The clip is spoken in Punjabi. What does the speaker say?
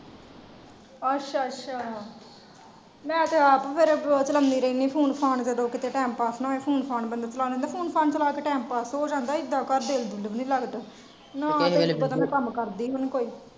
ਅੱਛਾ ਅੱਛਾ ਮੈਂ ਤੇ ਆਪ ਫੇਰ ਚਲਾਉਂਦੀ ਰਹਿਣੀ ਆ phone ਫਾਨ ਜਦੋਂ ਕੀਤੇ ਟੀਮ ਪਾਸ ਨਾ ਹੋਏ phone ਫਾਨ ਬੰਦਾ ਚਲਾ ਲੈਂਦਾ ਬੰਦਾ phone ਫਾਣ ਚਲਾ ਕ ਟੀਮ ਪਾਸ ਤੇ ਹੋ ਜਾਂਦਾ ਇੱਦਾ ਘਰ ਦਿਲ ਵੀ ਨੀ ਲੱਗਦਾ ਨਾਲੇ ਇੱਦਾ ਦਾ ਮੈਂ ਕੰਮ ਕਰਦੀ ਵੀ ਨੀ ਕੋਯੀ।